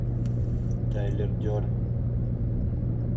тайлер дерден